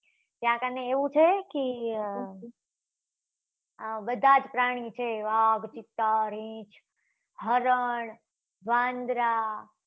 ત્યાં કને એવું છે કે આ બધા જ પ્રાણી છે. વાઘ ચિત્તા રીંછ હરણ વાંદરા